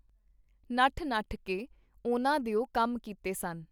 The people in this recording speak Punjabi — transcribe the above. ਨੱਠ-ਨੱਠ ਕੇ ਉਹਨਾਂ ਦਿਓ ਕੰਮ ਕੀਤੇ ਸਨ.